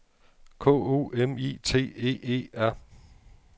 K O M I T E E R